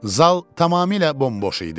Zal tamamilə bomboş idi.